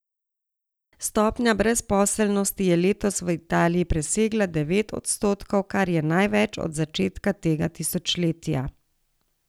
Stopnja brezposelnosti je letos v Italiji presegla devet odstotkov, kar je največ od začetka tega tisočletja.